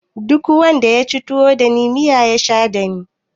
Duk wanda yaci tuwo dani miya ya sha dani